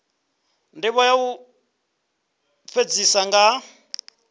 ndivho ya u fhedzisa nga